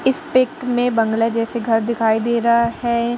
इस पिक में बंगला जैसे घर दिखाई दे रहा है।